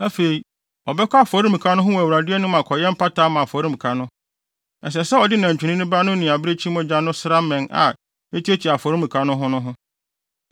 “Afei, ɔbɛkɔ afɔremuka no ho wɔ Awurade anim akɔyɛ mpata ama afɔremuka no. Ɛsɛ sɛ ɔde nantwinini ba no ne abirekyi mogya no sra mmɛn a etuatua afɔremuka no ho no ho.